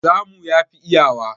Samu yafi iyawa.